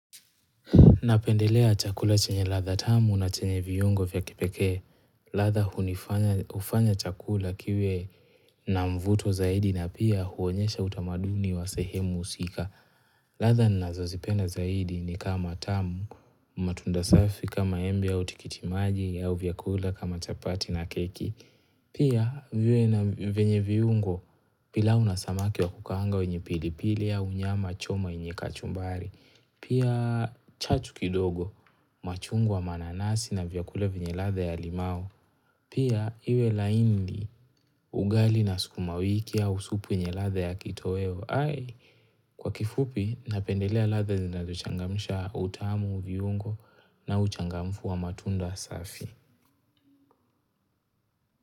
Napendelea chakula chenye ladha tamu na chenye viungo vya kipekee. Ladha hunifanya hufanya chakula kiwe na mvuto zaidi na pia huonyesha utamaduni wa sehemu husika. Ladha ninazozipenda zaidi ni kama tamu, matunda safi kama embe au tikiti maji au vyakula kama chapati na keki. Pia viwe na vyenye viungo pilau na samaki wa kukaanga wenye pilipili au nyama choma yenye kachumbari. Pia chachu kidogo machungwa mananasi na vyakula vyenye ladha ya limau. Pia iwe laini ugali na sukuma wiki au supu yenye ladha ya kitoweo. Hai kwa kifupi napendelea ladha zinazochangamsha utamu, viungo na uchangamfu wa matunda safi.